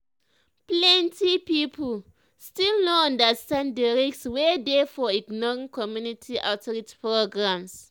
plenty people still no understand the risk wey dey for ignoring community outreach programs.